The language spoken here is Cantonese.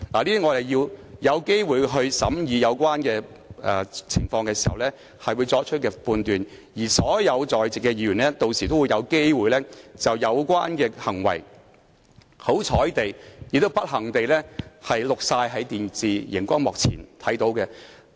如我們有機會審視有關情況，我們將就此作出判斷，而所有在席的議員屆時均有機會看到這些不知道是有幸還是不幸地在電視熒光幕播放的行為。